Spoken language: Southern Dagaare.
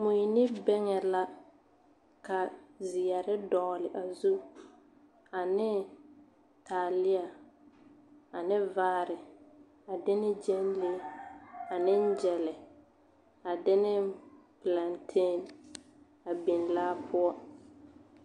Mui ne bɛŋɛ la ka zeɛre dɔgle a zu ane taaleɛ ane vaare, a de ne gyɛnlee ane gyɛlɛ, a de ne pelantee a biŋ laa poɔ. 13403